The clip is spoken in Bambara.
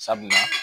Sabula